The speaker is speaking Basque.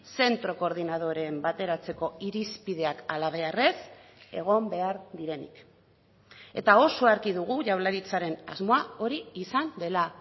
zentro koordinadoren bateratzeko irizpideak halabeharrez egon behar direnik eta oso argi dugu jaurlaritzaren asmoa hori izan dela